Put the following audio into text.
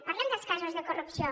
parlem dels casos de corrupció